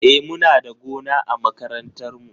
E, muna da gona a makarantar mu.